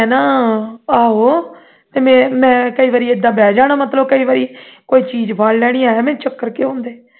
ਮੈਂ ਨਾ ਆਹੋ ਤੇ ਮੈਂ ਕਈ ਵਾਰੀ ਏਦਾਂ ਬਹਿ ਜਾਣਾ ਮਤਲਬ ਕਈ ਵਾਰੀ ਕੋਈ ਚੀਜ਼ ਫੜ ਲੈਣੀ ਐਵੇਂ ਚੱਕਰ ਕਿਉਂ ਆਉਂਦੇ